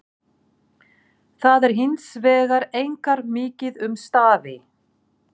Þar er hins vegar einkar mikið um stafi.